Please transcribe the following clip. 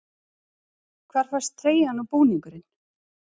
Hvar fæst treyjan og búningurinn?